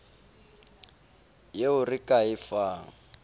yeo re ka e fang